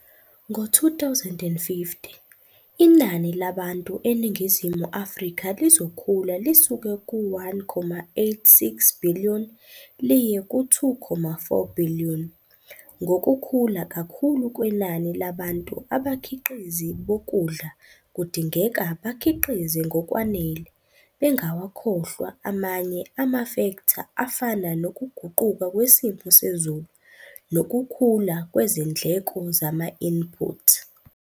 Ngo-2050, inani labantu eNingizimu Afrika lizokhula lisuke ku-1,86 billion liye ku-2,4 billion. Ngokukhula kakhulu kwenani labantu, abakhiqizi bokudla kudingeka bakhiqize ngokwanele, bengawakhohlwa amanye amafektha afana nokuguquka kwesimo sezulu nokukhula kwezindleko zama-input.